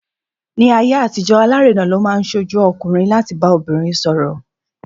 Ní ayé àtijọ́, alárinà ló máa ń ṣojú ọkùnrin láti bá obìnrin sọ̀rọ̀.